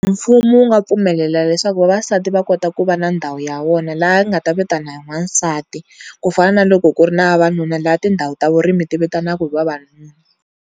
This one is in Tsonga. Mfumo wu nga pfumelela leswaku vavasati va kota ku va na ndhawu ya vona laha nga ta vitana hi n'wansati ku fana na loko ku ri na vavanuna la tindhawu ta vurimi ti vitanaka hi vavanuna.